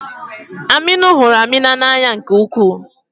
Aminu hụrụ Amina n'anya nke ukwuu.